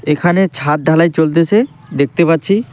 এখানে ছাদ ঢালাই চলতেসে দেখতে পাচ্ছি।